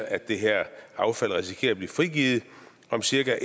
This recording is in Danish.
at det her affald risikerer at blive frigivet om cirka